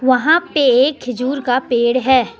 वहां पे एक खजूर का पेड़ हैं।